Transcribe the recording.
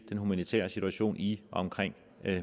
den humanitære situation i og omkring